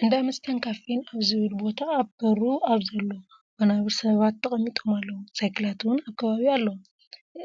እንዳ መስተን ካፊን ኣብ ዝብል ቦታ ኣብ በሩ ኣብ ዘሎ ወናብር ሰባት ተቐሚጦም ኣለዉ፡፡ ሳይክላት እውን ኣብ ከባቢኡ ኣለዋ፡፡